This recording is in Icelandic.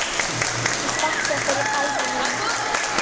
Ég þakka fyrir minn ævivin.